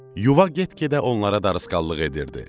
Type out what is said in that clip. Yuva get-gedə onlara darısqallıq edirdi.